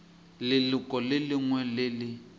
leloko le lengwe le le